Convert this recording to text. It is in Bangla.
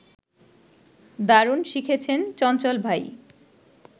দারুণ লিখেছেন চঞ্চল ভাই